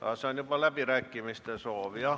Aa, see on juba läbirääkimiste soov.